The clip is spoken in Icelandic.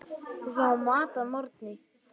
Við fáum mat að morgni.